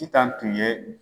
I tan tun ye